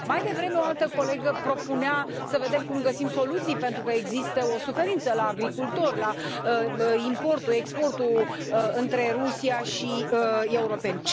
Mai devreme, o altă colegă propunea să vedem cum găsim soluții, pentru că există o suferință la agricultori la importul, exportul între Rusia și europeni.